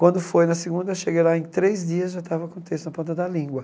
Quando foi na segunda, cheguei lá em três dias, já estava com o texto na ponta da língua.